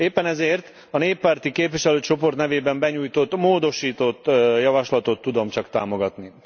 Éppen ezért a néppárti képviselőcsoport nevében benyújtott módosított javaslatot tudom csak támogatni.